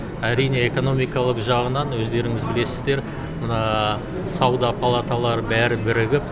әрине экономикалық жағынан өздеріңіз білесіздер мына сауда палаталары бәрі бірігіп